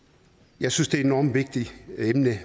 jeg synes det er et enormt vigtigt emne